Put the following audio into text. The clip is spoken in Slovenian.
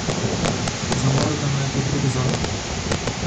Za Morgana je to drugi zakon.